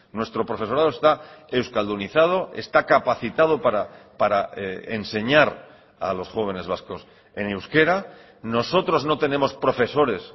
nuestro profesorado está euskaldunizado está capacitado para enseñar a los jóvenes vascos en euskera nosotros no tenemos profesores